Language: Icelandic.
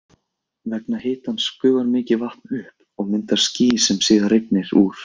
Vegna hitans gufar mikið vatn upp og myndar ský sem síðar rignir úr.